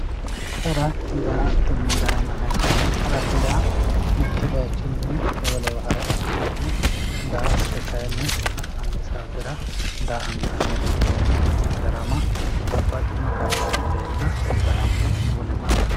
Hara, daa'atonna darama yinayihu, harate yaa mitu bayichinni wolewa hara ikkitanna, daa'atto kayinni ha'nani saatera daa'antanirichoti yaate, darama babaxino qari iilleenna darame wolewa harate.